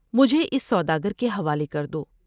مجھے اس سوداگر کے حوالے کر دو ۔